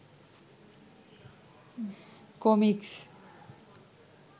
comics